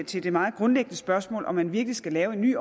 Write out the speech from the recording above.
til det meget grundlæggende spørgsmål om man virkelig skal lave en ny